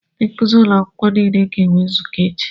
Ndị nkuzi ụlọ akwụkwọ niile ga-enwe nzukọ echi.